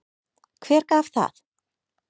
Hver gaf það?